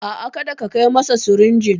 A'a, kada ka kai masa sirinjin.